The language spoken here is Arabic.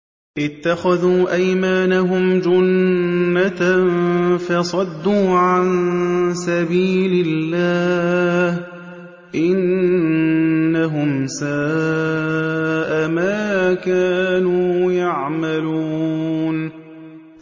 اتَّخَذُوا أَيْمَانَهُمْ جُنَّةً فَصَدُّوا عَن سَبِيلِ اللَّهِ ۚ إِنَّهُمْ سَاءَ مَا كَانُوا يَعْمَلُونَ